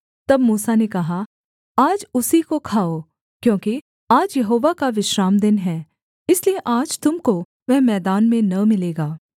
तब मूसा ने कहा आज उसी को खाओ क्योंकि आज यहोवा का विश्रामदिन है इसलिए आज तुम को वह मैदान में न मिलेगा